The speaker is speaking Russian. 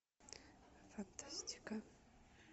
фантастика